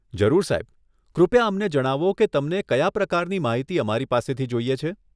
જરૂર સાહેબ, કૃપયા અમને જણાવો કે તમને કયા પ્રકારની માહિતી અમારી પાસેથી જોઈએ છે?